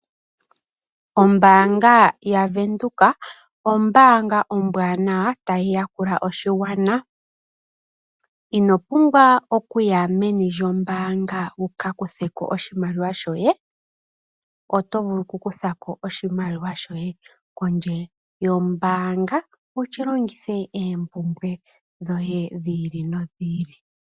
Ombaanga yaVenduka ombaanga ombwanawa tayi ya kula oshigwana. Ino pumbwa okuya meni lyombaanga wuka kuthe ko oshimaliwa shoye, oto vulu ku kutha ko oshimaliwa shoye pondje yombaanga wu shi longithe oompumbwe dhi ili.